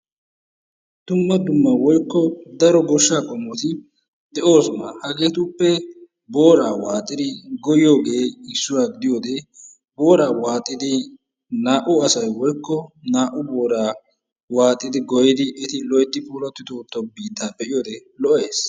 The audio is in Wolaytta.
Dumma dumma woykko daro goshshaa qommoyi de"oosona. Hegeetuppe boora waaxidi goyyiyooge issuwa gidiyode booraa waaxidi naa"u asayi woykko naa"u booraa waaxidi goyyidi eti loyttidi puulayi wottido biittaa be"iyode lo"es.